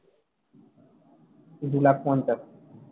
দু লাখ পঞ্চাশ